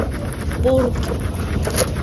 порки